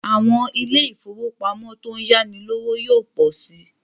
Àwọn ilé ifówópamọ́ tó ń yáni lówó yóò pọ̀ si